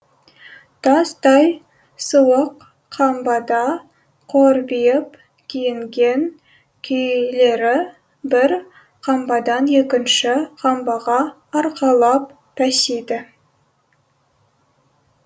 тастай суық қамбада қорбиып киінген күйлері бір қамбадан екінші қамбаға арқалап тасиды